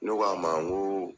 Ne k'a ma n ko